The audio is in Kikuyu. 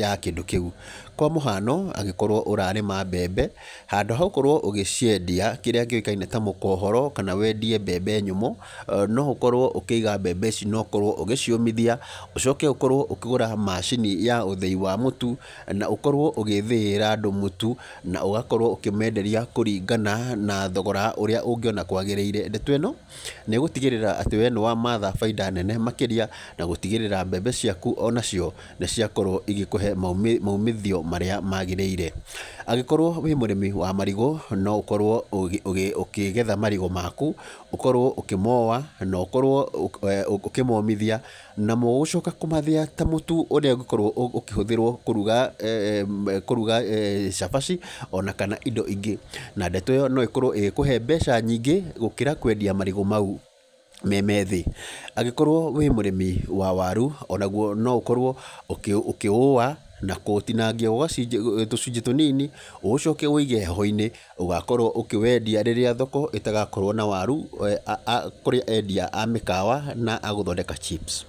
ya kĩndũ kĩu. Kwa mũhano, angĩkorwo ũrarĩma mbembe, handũ hagũkorwo ũgĩciendia kĩrĩa kĩũĩkaine ta mũkohoro, kana wendie mbembe nyũmũ, no ũkorwo ũkĩiga mbembe ici nokorwo ũgĩciũmĩthia, ũcoke ũkorwo ũkĩgũra macini ya ũthĩi wa mũtu, na ũkorwo ũgĩthĩĩra andũ mũtu na ũgakorwo ũkĩmenderia na thogora kũringana na ũrĩa ũngĩona kwagĩrĩire. Ndeto ĩno, nĩgũtigĩrĩra atĩ we nĩwamatha bainda nene makĩria, na gũtigĩrĩra atĩ mbembe ciaku onacio nĩ ciakorwo cigĩkũhe maumithio marĩa magĩrĩire. Angĩkorwo wĩ mũrĩmi wa marigũ, no ũkorwo ũkĩgetha marigũ maku, okorwo ũkĩmowa, na ũkorwo ũkĩmomithia, namo gũcoka kũmathĩya ta mũtu ũrĩa ũngĩkorwo ũkĩhũthĩrwo kũruga, kũruga cabaci, ona kana indo ingĩ, na ndeto ĩyo noĩkorwo ĩgĩkũhe mbeca nyingĩ, gũkĩra kwendia marigũ mau memethĩ, angĩkorwo wĩ mũrĩmi wa waru, onaguo noũkorwo ũkĩũwa na kũũtinangia tũcunjĩ tũnini, ũcoke ũũige heho-inĩ, ũgakorwo ũkĩwendia rĩrĩa thoko ĩtagakorwo na waru, kũrĩ endia a mĩkawa na agũthondeka chips.